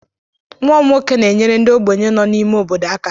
Nwa m nwoke na-enyere ndị ogbenye nọ n'ime obodo aka